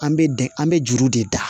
An bɛ de an bɛ juru de da